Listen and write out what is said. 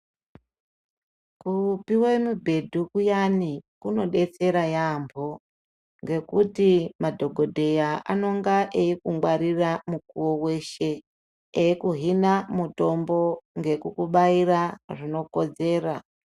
Kupiwe mubhedhu kuyani kunodetsera yampho ngekuti madhokodheya anonga eikungwarira mukuwo weshe eikuhina mutombo ngekukubaira zvinokodzera.